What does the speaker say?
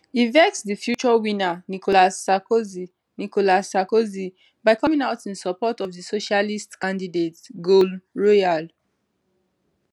e vex di future winner nicolas sarkozy nicolas sarkozy by coming out in support of di socialist candidate sgolne royal